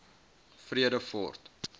vredefort